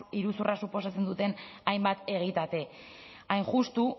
iruzurra suposatzen duten hainbat egitate hain justu